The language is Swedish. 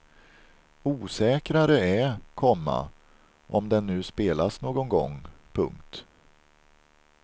Osäkrare är, komma om den nu spelas någon gång. punkt